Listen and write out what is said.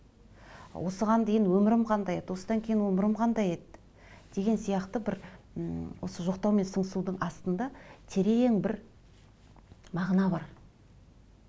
осыған дейін өмірім қандай еді осыдан кейін өмірім қандай еді деген сияқты бір м осы жоқтау мен сыңсудың астында терең бір мағына бар